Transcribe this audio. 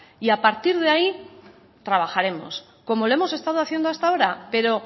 y a partir de ahí trabajaremos como lo hemos estado haciendo hasta ahora pero